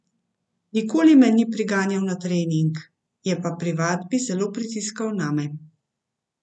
Nikoli me ni priganjal na trening, je pa pri vadbi zelo pritiskal name.